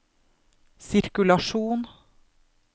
sirkulasjon